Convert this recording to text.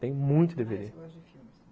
Tem muito dê vê dê.